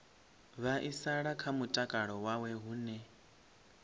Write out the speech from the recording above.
vhaisala kha mutakalo wawe hune